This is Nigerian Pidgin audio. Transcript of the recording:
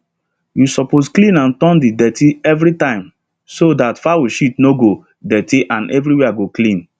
you suppose clean and turn the dirty everytime so that fowl shit no go dirty and everywhere go clean